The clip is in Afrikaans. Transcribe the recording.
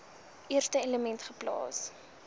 eerste element geplaas